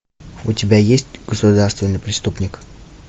у тебя есть государственный преступник